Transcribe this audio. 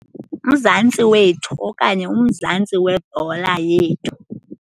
UMzantsi Wethu okanye uMzantsi Webhola Yethu.